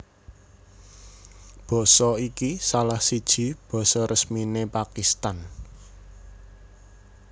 Basa iki salah siji basa resminé Pakistan